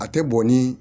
A tɛ bɔn ni